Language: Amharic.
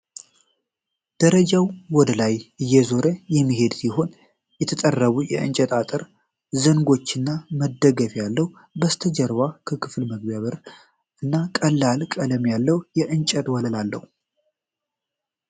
ደረጃው ወደ ላይ እየዞረ የሚሄድ ሲሆን፣ የተጠረቡ የእንጨት አጥር ዘንጎች እና መደገፊያ አለው። ከበስተጀርባ የክፍል መግቢያ በር እና ቀላል ቀለም ያለው የእንጨት ወለል አለው፡፡